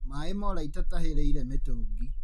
Maĩ mora itatahĩrĩire mĩtũngi.